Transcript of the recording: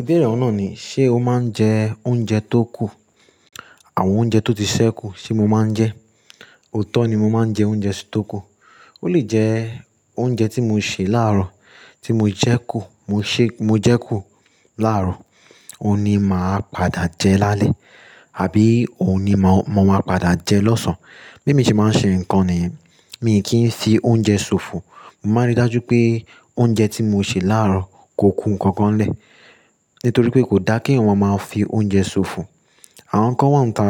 Ìbéèrè ọun naà ni, ṣe o máa ń jẹ oúnjẹ tó kù? Àwọn oúnjẹ tó ti sẹ́ kù ṣe mo máa ń jẹ? Oòtọ́ ni mo máa ń jẹ oúnjẹ tó kù. Ó lè jẹ oúnjẹ tí mo ṣè láàárọ̀, tí mo jẹ kù, mo ṣé, mo jẹ kù láàárọ̀, òun ni màá padà jẹ lálẹ́ àbí òun ni mo máa padà jẹ lọ́sàn-án. Bí èmi ṣe máa ń ṣe nǹkan nìyẹn, mi kì í fi oúnjẹ ṣòfò. Mo máa ń rí dájú pé oúnjẹ tí mo ṣè láàárọ̀ kò kú nǹkan kan lẹ̀. Nítorí pé kò dá kí èèyàn máa fi oúnjẹ ṣòfò. Àwọn nǹkan wọ́n ń ta